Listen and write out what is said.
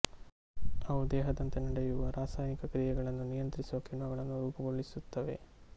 ಅವು ದೇಹಾದ್ಯಂತ ನಡೆಯುವ ರಾಸಾಯನಿಕ ಕ್ರಿಯೆಗಳನ್ನು ನಿಯಂತ್ರಿಸುವ ಕಿಣ್ವಗಳನ್ನೂ ರೂಪುಗೊಳಿಸುತ್ತವೆ